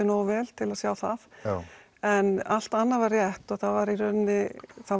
nógu vel til að sjá það en allt annað var rétt og það var í rauninni það